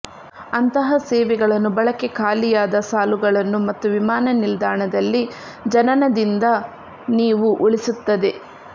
ಅಂತಹ ಸೇವೆಗಳನ್ನು ಬಳಕೆ ಖಾಲಿಯಾದ ಸಾಲುಗಳನ್ನು ಮತ್ತು ವಿಮಾನನಿಲ್ದಾಣದಲ್ಲಿ ಜನನದಿಂದ ನೀವು ಉಳಿಸುತ್ತದೆ